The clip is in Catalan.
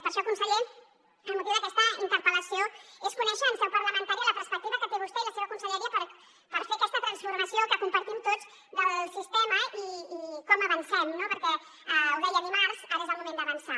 per això conseller el motiu d’aquesta interpel·lació és conèixer en seu parlamentària la perspectiva que tenen vostè i la seva conselleria per fer aquesta transformació que compartim tots del sistema i com avancem no perquè ho deia dimarts ara és el moment d’avançar